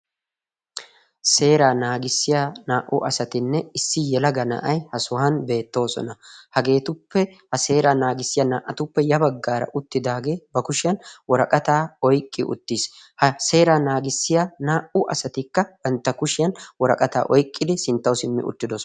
seeraa naagissiya naa''u asatinne issi yelaga na'ay ha sohan beettoosona hageetuppe ha seera naagissiya naa''atuppe ya baggaara uttidaagee ba kushiyan woraqataa oyqqi uttiis ha seera naagissiya naa''u asatikka bantta kushiyan woraqataa oyqqidi sinttawu simmi uttidoosona